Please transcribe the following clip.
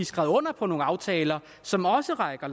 skrevet under på nogle aftaler som også rækker